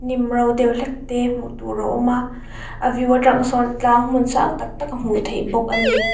hnim ro deuh hlek te hmuh tur a awm a a view atang sawn tlang hmun sang tak tak a hmuh theih bawk ani.